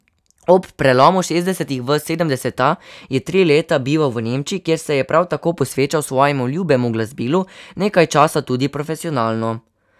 Ob prelomu šestdesetih let v sedemdeseta je tri leta bival v Nemčiji, kjer se je prav tako posvečal svojemu ljubemu glasbilu, nekaj časa tudi profesionalno.